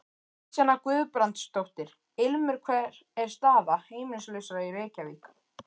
Kristjana Guðbrandsdóttir: Ilmur hver er staða heimilislausra í Reykjavík?